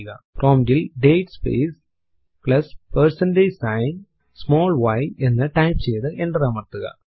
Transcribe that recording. prompt ൽ date space plus percentage sign small y എന്ന് type ചെയ്തു എന്റർ അമർത്തുക